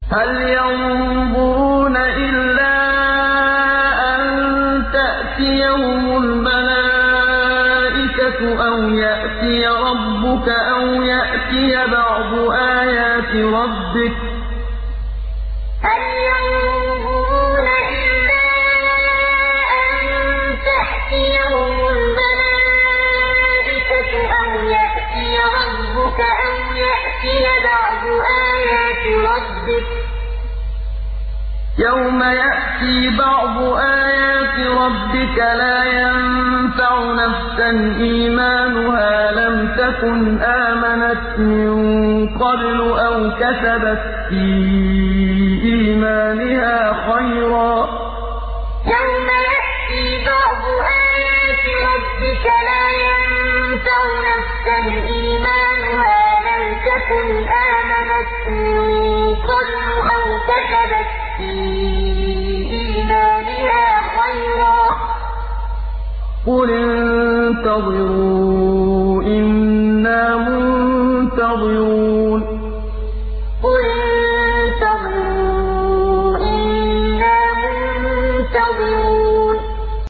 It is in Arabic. هَلْ يَنظُرُونَ إِلَّا أَن تَأْتِيَهُمُ الْمَلَائِكَةُ أَوْ يَأْتِيَ رَبُّكَ أَوْ يَأْتِيَ بَعْضُ آيَاتِ رَبِّكَ ۗ يَوْمَ يَأْتِي بَعْضُ آيَاتِ رَبِّكَ لَا يَنفَعُ نَفْسًا إِيمَانُهَا لَمْ تَكُنْ آمَنَتْ مِن قَبْلُ أَوْ كَسَبَتْ فِي إِيمَانِهَا خَيْرًا ۗ قُلِ انتَظِرُوا إِنَّا مُنتَظِرُونَ هَلْ يَنظُرُونَ إِلَّا أَن تَأْتِيَهُمُ الْمَلَائِكَةُ أَوْ يَأْتِيَ رَبُّكَ أَوْ يَأْتِيَ بَعْضُ آيَاتِ رَبِّكَ ۗ يَوْمَ يَأْتِي بَعْضُ آيَاتِ رَبِّكَ لَا يَنفَعُ نَفْسًا إِيمَانُهَا لَمْ تَكُنْ آمَنَتْ مِن قَبْلُ أَوْ كَسَبَتْ فِي إِيمَانِهَا خَيْرًا ۗ قُلِ انتَظِرُوا إِنَّا مُنتَظِرُونَ